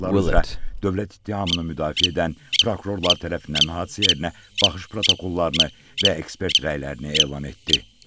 dövlət ittihamını müdafiə edən prokurorlar tərəfindən hadisə yerinə baxış protokollarını və ekspert rəylərini elan etdi.